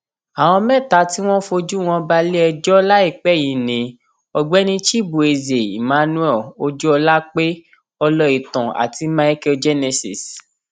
àwọn mẹta tí wọn fojú wọn balẹẹjọ láìpẹ yìí ni ọgbẹni chibueze emmanuel ojúọlápẹ ọlọìtàn àti michael genesis